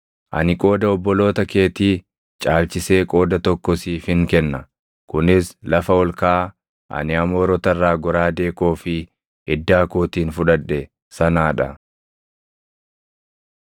Ani qooda obboloota keetii caalchisee qooda tokko siifin kenna; kunis lafa ol kaʼaa ani Amoorota irraa goraadee koo fi iddaa kootiin fudhadhe sanaa dha.”